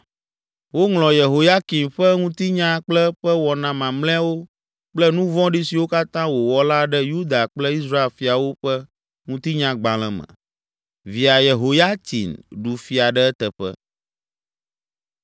Woŋlɔ Yehoyakim ƒe ŋutinya kple eƒe wɔna mamlɛawo kple nu vɔ̃ɖi siwo katã wòwɔ la ɖe Yuda kple Israel fiawo ƒe Ŋutinyagbalẽ me. Via Yehoyatsin ɖu fia ɖe eteƒe.